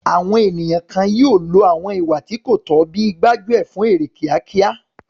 Àwọn ènìyàn kan yóò lo àwọn ìwà tí kò tọ́ bíi gbájú ẹ̀ fún èrè kíákíá.